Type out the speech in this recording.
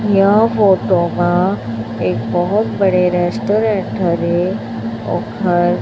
यह फोटो मा एक बहोत बड़े रेस्टोरेंट ओखर--